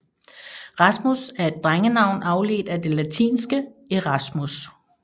Rasmus er et drengenavn afledt af det latinske Erasmus